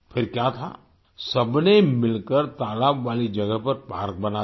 फिर क्या था सबने मिलकर तालाब वाली जगह पर पार्क बना दिया